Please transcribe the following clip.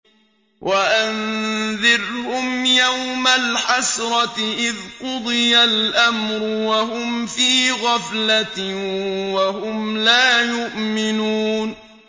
وَأَنذِرْهُمْ يَوْمَ الْحَسْرَةِ إِذْ قُضِيَ الْأَمْرُ وَهُمْ فِي غَفْلَةٍ وَهُمْ لَا يُؤْمِنُونَ